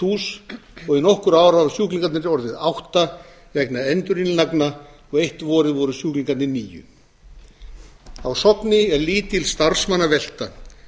hús og í nokkur ár hafa sjúklingarnir orðið átta vegna endurinnlagna og eitt árið voru sjúklingarnir níu á sogni er lítil starfsmannavelta og